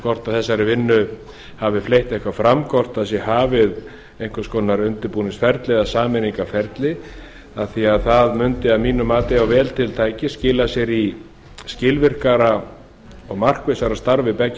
hvort þeirri vinnu hafi fleygt eitthvað fram hvort hafið sé einhvers konar undirbúnings eða sameiningarferli af því að það mundi að mínu mati ef vel til tækist skila sér í skilvirkara og markvissara starfi beggja